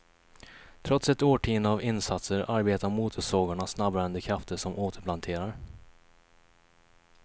Trots ett årtionde av insatser arbetar motorsågarna snabbare än de krafter som återplanterar.